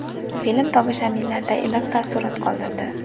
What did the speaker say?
Film tomoshabinlarda iliq taassurot qoldirdi.